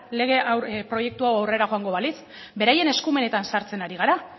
lege hau proiektu hau aurrera joango balitz beraien eskumenetan sartzen ari gara